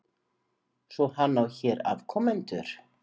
Svo hann á hér afkomendur?